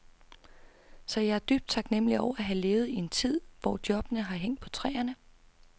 Så jeg er dybt taknemmelig over at have levet i en tid, hvor jobbene har hængt på træerne.